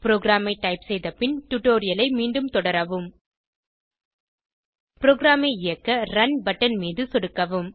ப்ரோகிராமை டைப் செய்த பின் டுடோரியலை மீண்டும் தொடரவும் ப்ரோகிராமை இயக்க ரன் பட்டன் மீது சொடுக்கவும்